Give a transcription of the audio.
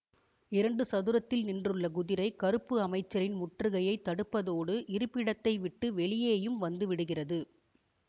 இரண்டு சதுரத்தில் நின்றுள்ள குதிரை கருப்பு அமைச்சரின் முற்றுகையை தடுப்பதோடு இருப்பிடத்தைவிட்டு வெளியேயும் வந்துவிடுகிறது